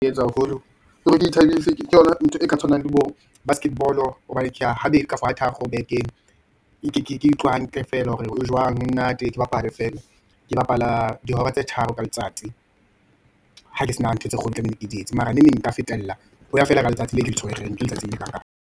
Etswa haholo ke hore ke ithabise, ke yona ntho e ka tshwanang le bo basketball-o, hobane ke ya habedi kapa thararo bekeng, ke utlwa hantle feela hore e jwang, e monate. Ke bapale feela, ke bapala dihora tse tharo ka letsatsi , hake sena ntho tse kgolo tlamehile ke di etse, mara neneng nka fetella, ho ya fela ka letsatsi leo ke le tshwereng, ke letsatsi le kakang.